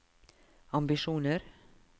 ambisjoner